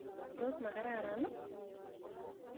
Tos makararan ii?